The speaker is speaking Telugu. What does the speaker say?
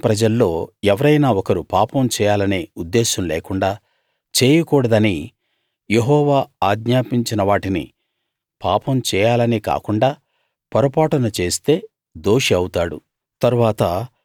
సామాన్య ప్రజల్లో ఎవరైనా ఒకరు పాపం చేయాలనే ఉద్దేశం లేకుండా చేయకూడదని యెహోవా ఆజ్ఞాపించిన వాటిని పాపం చేయాలని కాకుండా పొరపాటున చేస్తే దోషి అవుతాడు